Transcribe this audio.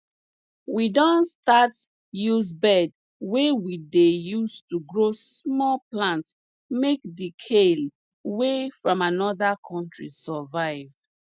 we don start use bed wey we dey use to grow small plants make the kale wey from another country survive